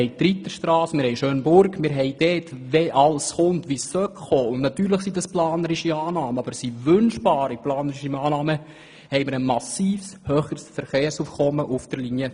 Ausserdem haben wir die Reiterstrasse, die Schönburg und wenn alles kommt, wie es kommen sollte – natürlich handelt es sich um planerische, aber wünschbare Annahmen –, haben wir noch ein massiv höheres Verkehrsaufkommen auf der Linie